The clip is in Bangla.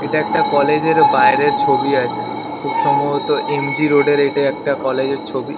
এটা একটা কলেজ -এর বাইরের ছবি আছে। খুব সম্ভবত এম. জি. রোড -এর এটা একটা কলেজ -এর ছবি।